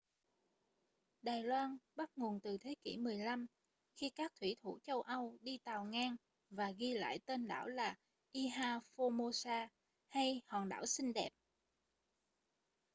đài loan bắt nguồn từ thế kỷ 15 khi các thủy thủ châu âu đi tàu ngang và ghi lại tên đảo là ilha formosa hay hòn đảo xinh đẹp